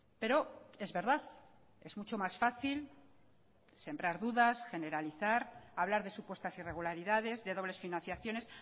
pero es verdad es mucho más fácil sembrar dudas generalizar hablar de supuestas irregularidades de dobles financiaciones